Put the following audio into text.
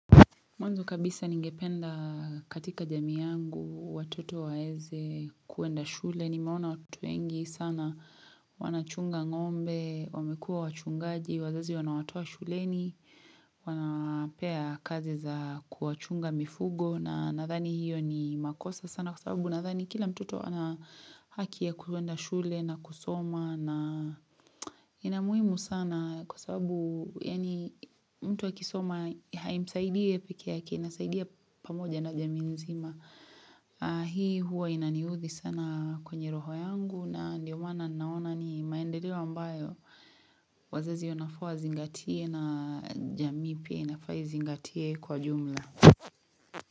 Mwanzo kabisa ningependa katika jamii yangu watoto waweze kuenda shule nimeona watoto wengi sana wanachunga ngombe, wamekua wachungaji, wazazi wanawatoa shuleni, wanapea kazi za kuwachunga mifugo na nadhani hiyo ni makosa sana kwa sababu nadhani kila mtoto wana haki ya kuenda shule na kusoma na ina muhimu sana kwa sababu yaani mtu akisoma haimsaidi yee pekee yake inasaidia pamoja na jamii nzima hii huwa inaniudhi sana kwenye roho yangu na ndio maana naona ni maendeleo ambayo wazazi wanafaa wazingatie na jamii pia inafaa izingatie kwa jumla.